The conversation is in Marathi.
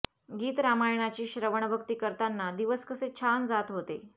गीत रामायणाची श्रवणभक्ति करतांना दिवस कसे छान जात होते